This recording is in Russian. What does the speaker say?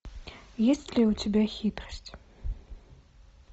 есть ли у тебя хитрость